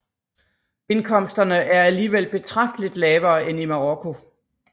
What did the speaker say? Indkomsterne er alligevel betragteligt lavere end i Marokko